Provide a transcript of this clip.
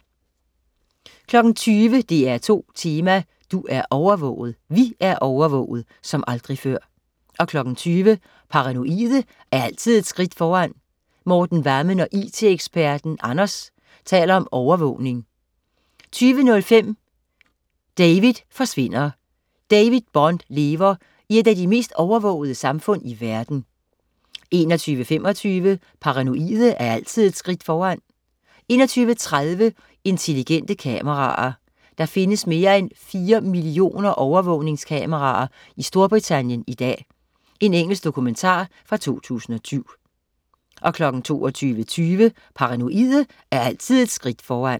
20.00 DR2 Tema: Du er overvåget. Vi er overvåget som aldrig før 20.00 Paranoide er altid et skridt foran. Morten Vammen og it-eksperten Anders taler om overvågning 20.05 David forsvinder. David Bond lever i et af de mest overvågede samfund i verden 21.25 Paranoide er altid et skridt foran 21.30 Intelligente kameraer. Der findes mere end fire millioner overvågningskameraer i Storbritannien i dag. Engelsk dokumentar fra 2007 22.20 Paranoide er altid et skridt foran